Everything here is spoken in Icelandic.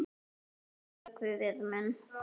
Og þinn vökvi við minn.